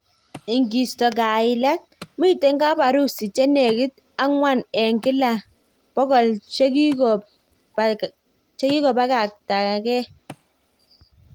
Ikisto kailet, miten kap harusi che nekit akwang eng kila 100 che kikopakatangee.